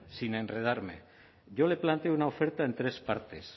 sin enredarme yo le planteo una oferta en tres partes